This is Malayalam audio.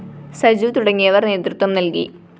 സജു തുടങ്ങിയവര്‍ നേതൃത്വം നല്‍കി